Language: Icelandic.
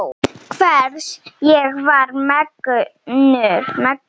Hvers ég var megnug.